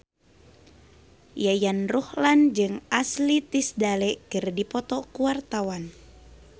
Yayan Ruhlan jeung Ashley Tisdale keur dipoto ku wartawan